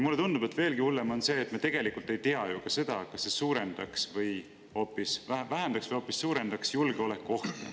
Mulle tundub, et veelgi hullem on see, et me tegelikult ei tea ju ka seda, kas see vähendaks või hoopis suurendaks julgeolekuohtu.